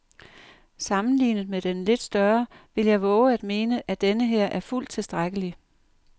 Sammenlignet med den lidt større vil jeg vove at mene, at denneher er fuldt tilstrækkelig.